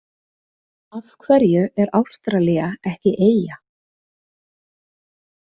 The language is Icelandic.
Af hverju er Ástralía ekki eyja?